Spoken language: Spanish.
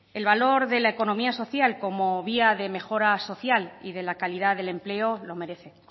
el valor de la economía social como vía de mejora social y de la calidad del empleo lo merece